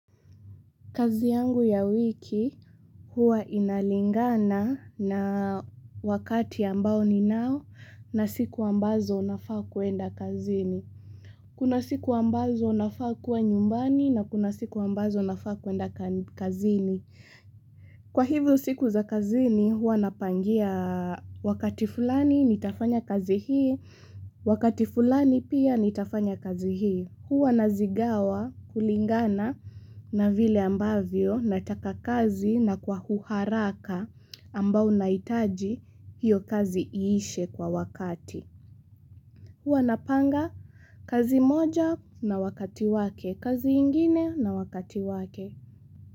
Kazi yangu ya wiki huwa inalingana na wakati ambao ninao na siku ambazo nafaa kwenda kazini. Kuna siku ambazo unafaa kuwa nyumbani na kuna siku ambazo unafaa kuenda kazini. Kwa hivyo siku za kazini huwa napangia wakati fulani nitafanya kazi hii, wakati fulani pia nitafanya kazi hii. Huwa nazigawa kulingana na vile ambavyo nataka kazi na kwa uharaka ambao nahitaji hiyo kazi iishe kwa wakati. Huwa napanga kazi moja na wakati wake, kazi ingine na wakati wake.